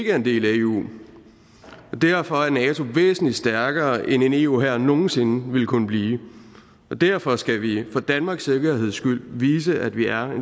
er en del af eu derfor er nato væsentlig stærkere end en eu hær nogen sinde ville kunne blive derfor skal vi for danmarks sikkerheds skyld vise at vi er